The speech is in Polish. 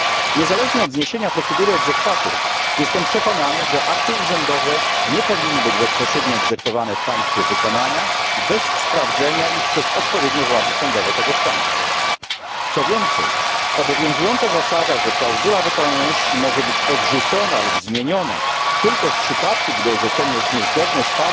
Niezależnie od zniesienia procedury jestem przekonany, że akty urzędowe nie powinny być bezpośrednio egzekwowane w państwie wykonania bez sprawdzenia ich przez odpowiednie władze sądowe tegoż państwa, co więcej powinna zostać zmieniona obowiązująca zasada, że klauzula wykonalności może być odrzucona lub zmieniona tylko w przypadku, gdy orzeczenie jest niezgodne z